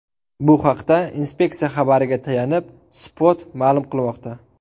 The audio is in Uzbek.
Bu haqda inspeksiya xabariga tayanib, Spot ma’lum qilmoqda .